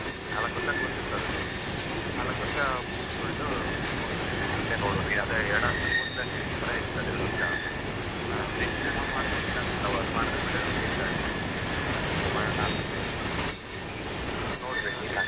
ನಾಲ್ಕು ವರ್ಷ course ಇರ್ತದೆ ಅದು, ವರ್ಷ ಮುಗಿಸಿಕೊಂಡು ಮುಂದೆ ನೋಡೋದು ಅದೇ post graduation ಕೂಡ ಇದೆ ಎರಡ್ ವರ್ಷ ಅದು ಮಾಡಿದ್ರೆ ಒಳ್ಳೆಯದು ಅಂತ ಹೇಳಿದ್ದಾರೆ ಏನಾದರೂ ಮಾಡೋಣ ಅಂತ ಇದ್ದೇನೆ ಏನ್ .